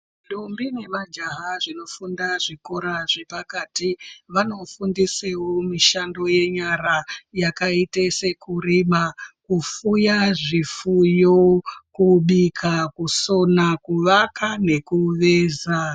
Ndombi nemajaha zvinofunda zvikora zvepakati vanofundiseo mishando yenyara yakaite sekurima kufuya zvifuyo kubika kusona kuvaka nekuveza.